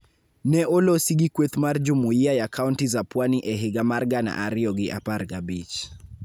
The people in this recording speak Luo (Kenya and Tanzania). ne olosi gi kweth mar Jumuiya ya kaonti za Pwani e higa mar gana ariyo gi apar gabich.